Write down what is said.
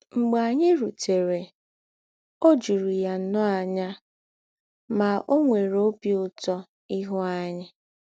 Mḡbè ányị rùtèrè, ò jùrù̀ yà nnọọ ànyà, mà ò nwèrè òbí Ǔtọ̀ íhū ányị.